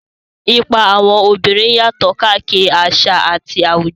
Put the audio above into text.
Ipa àwọn obìnrin yàtọ̀ káàkiri àṣà àti àwùjọ.